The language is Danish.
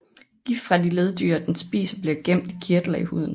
Gift fra de leddyr den spiser bliver gemt i kirtler i huden